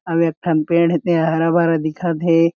अउ एक ठम पेड़ हे ते हरा-भरा दिखत हे।